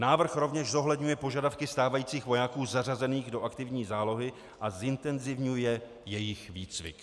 Návrh rovněž zohledňuje požadavky stávajících vojáků zařazených do aktivní zálohy a zintenzivňuje jejich výcvik.